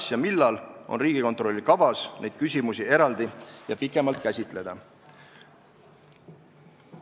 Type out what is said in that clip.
Kas ja millal on Riigikontrollil kavas neid küsimusi eraldi ja pikemalt käsitleda?